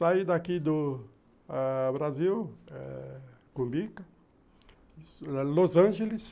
Saí daqui do Brasil ãh, Cumbica, Los Angeles,